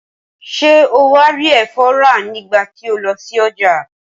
Ṣé o wá rí ẹ̀fọ́ rà nígbà tí o lọ sí ọjà?